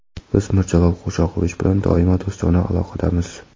Biz Mirjalol Qo‘shoqovich bilan doimo do‘stona aloqadamiz.